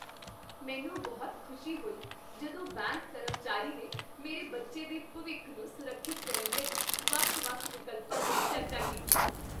ਮੈਨੂੰ ਬਹੁਤ ਖੁਸ਼ੀ ਹੋਈ ਜਦੋਂ ਬੈਂਕ ਕਰਮਚਾਰੀ ਨੇ ਮੇਰੇ ਬੱਚੇ ਦੇ ਭਵਿੱਖ ਨੂੰ ਸੁਰੱਖਿਅਤ ਕਰਨ ਲਈ ਵੱਖ ਵੱਖ ਵਿਕਲਪਾਂ 'ਤੇ ਚਰਚਾ ਕੀਤੀ